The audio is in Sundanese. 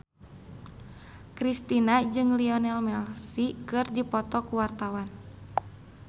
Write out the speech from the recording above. Kristina jeung Lionel Messi keur dipoto ku wartawan